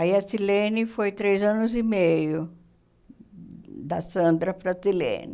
Aí a Silene foi três anos e meio, da Sandra para a Silene.